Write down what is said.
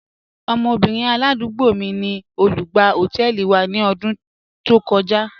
Ọmọbìnrin aládúgbò mí ni olùgbà họtẹẹlì wa ni ọdún tó kọja..